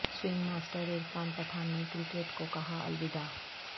swing master Irfan Pathan نے cricket کو کہا الوداع